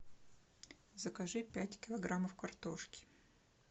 закажи пять килограммов картошки